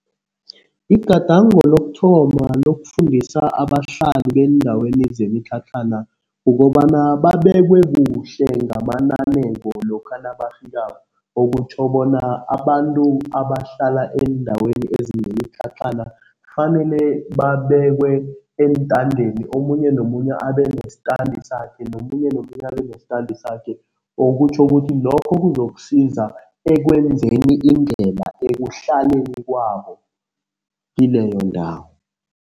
Igadango lokuthoma lokufundisa abahlali beendaweni zemitlhatlhana kukobana babekwe kuhle ngamananeko lokha nabafikako. Okutjho bona abantu abahlala eendaweni ezinemitlhatlhana kufanele babekwe eentadeni, omunye nomunye abenestandi sakhe nomunye nomunye abe nestandi sakhe, okutjho ukuthi lokho kuzokusiza ekwenzeni indlela ekuhlaleni kwabo, kileyo ndawo.